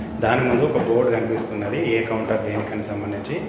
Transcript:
దాని ముందు ఒక బోర్డు కనిపిస్తున్నది ఏ కౌంటర్ దేనికని సంబంధించి.